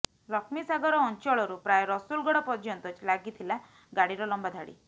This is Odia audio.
ଲକ୍ଷ୍ମୀସାଗର ଅଂଚଳରୁ ପ୍ରାୟ ରସୁଲଗଡ଼ ପର୍ଯ୍ୟନ୍ତ ଲାଗିଥିଲା ଗାଡିର ଲମ୍ବା ଧାଡ଼ି